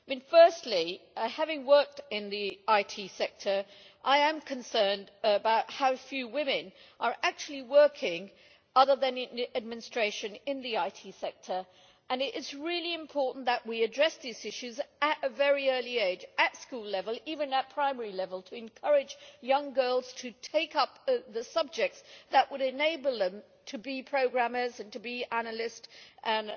Firstly, having worked in the IT sector, I am concerned about how few women are actually working other than in administration in the IT sector, and it is really important that we address these issues at a very early age at school level, even at primary level to encourage young girls to take up the subjects that would enable them to be programmers, to be analysts, and